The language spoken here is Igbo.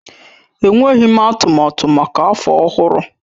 Enweghị m atụmatụ maka afọ ọhụrụ.